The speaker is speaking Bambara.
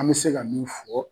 An bɛ se ka min fɔ